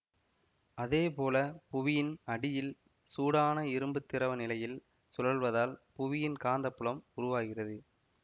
அதே போல புவியின் அடியில் சூடான இரும்பு திரவ நிலையில் சுழல்வதால் புவியின் காந்தப்புலம் உருவாகிறது